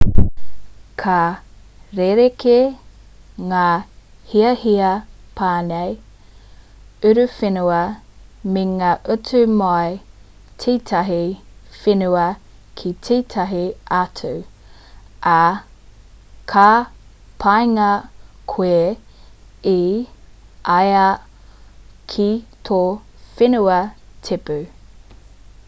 ka rerekē ngā hiahia pane uruwhenua me ngā utu mai i tētahi whenua ki tētahi atu ā ka pāngia koe e ai ki tō whenua tipu